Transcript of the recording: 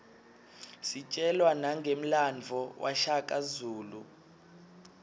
sitjelwa nangemlandvo washaka zulu